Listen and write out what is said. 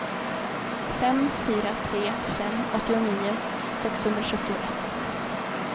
fem fyra tre fem åttionio sexhundrasjuttioett